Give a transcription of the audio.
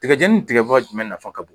Tigɛjɛni ni tigɛba jumɛn nafa ka bon?